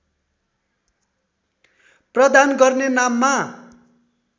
प्रदान गर्ने नाममा